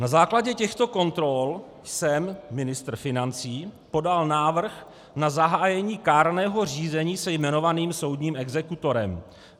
Na základě těchto kontrol jsem - ministr financí - podal návrh na zahájení kárného řízení se jmenovaným soudním exekutorem.